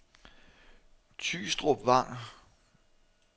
Tygstrup Vang